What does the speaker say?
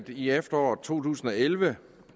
i efteråret to tusind og elleve